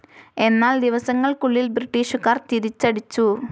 എന്നാൽ ദിവസങ്ങൾക്കുള്ളിൽ ബ്രിട്ടീഷുകാർ തിരിച്ചടിച്ചു.